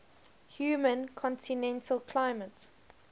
humid continental climate